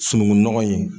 Sunungunɔgɔ in